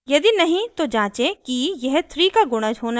यदि नहीं तो जाचें कि यह 3 का गुणज होना चाहिए